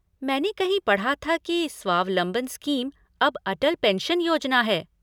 मैंने कहीं पढ़ा था की स्वावलंबन स्कीम अब अटल पेंशन योजना है?